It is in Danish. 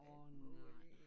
Åh nej